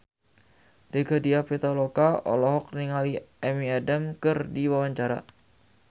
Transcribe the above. Rieke Diah Pitaloka olohok ningali Amy Adams keur diwawancara